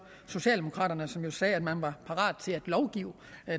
socialdemokraterne som jo sagde at man var parat til at lovgive